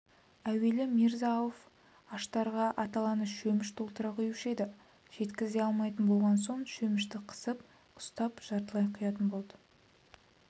әуелі мирза-ауф аштарға аталаны шөміш толтыра құюшы еді жеткізе алмайтын болған соң шөмішті қысып ұстап жартылай құятын болды